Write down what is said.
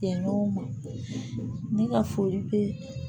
Kɛ ɲɔgɔn ma ne ka foli bɛ